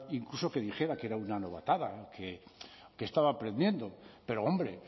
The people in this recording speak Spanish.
incluso que dijera que era una novatada que estaba aprendiendo pero hombre